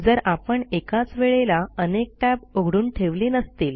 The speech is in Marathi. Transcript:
जर आपण एकाच वेळेला अनेक टॅब उघडून ठेवले नसतील